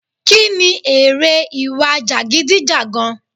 Kí ni èrè ìwà jagidijagan?